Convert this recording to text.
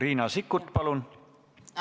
Riina Sikkut, palun!